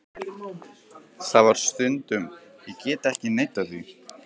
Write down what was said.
Það var það stundum, ég get ekki neitað því.